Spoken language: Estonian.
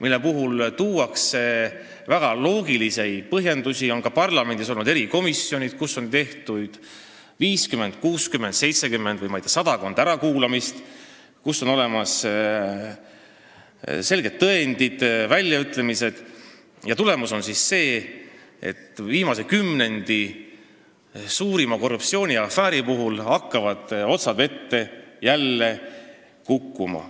On toodud väga loogilisi põhjendusi, ka parlamendis on olnud erikomisjonid, kus on tehtud 50, 60, 70 või sadakond ärakuulamist, on olemas selged tõendid, väljaütlemised, aga tulemus on see, et viimase kümnendi suurima korruptsiooniafääri otsad hakkavad jälle vette kaduma.